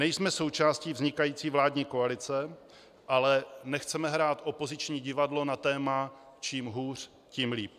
Nejsme součástí vznikající vládní koalice, ale nechceme hrát opoziční divadlo na téma čím hůř, tím líp.